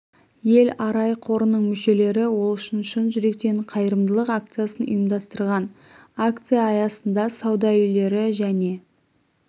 ел арай қорының мүшелері ол үшін шын жүректен қайырымдылық акциясын ұйымдастырған акция аясында сауда үйлері және